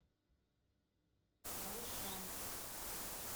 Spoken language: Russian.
байшань